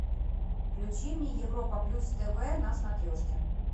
включи мне европа плюс тв на смотрешке